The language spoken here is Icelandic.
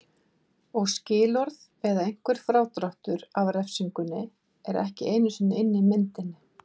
Og skilorð eða einhver frádráttur af refsingunni er ekki einu sinni inni í myndinni.